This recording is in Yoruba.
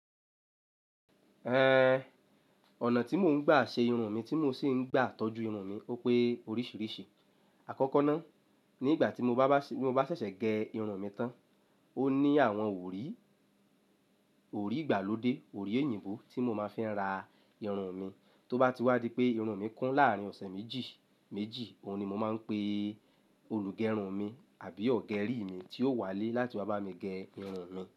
Eh, ọ̀nà tí mò ń gbà ṣe irun mi tí mò sì ń gbà tọ́jú irun mi ó pé oríṣìíríṣìí. Àkọ́kọ́ náà, nígbà tí mo bá ṣẹ̀ṣẹ̀ gé irun mi tán, ó ní àwọn wòríì, wòríì ìgbàlódé, wòríì èyíǹgbó tí mo máa fi ń ra irun mi. Tó bá ti wá di pé irun mi kún láàrín ọ̀sẹ̀ méjì méjì, òun ni mo máa ń pe olùgẹ irun mi àbí ọ̀gẹ rí mi tí ó wà lé láti wá bá mi gé irun mi.